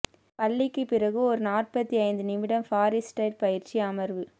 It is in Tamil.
பள்ளிக்கு பிறகு ஒரு நாற்பத்தி ஐந்து நிமிடம் ஃப்ரீஸ்டைல் பயிற்சி அமர்வு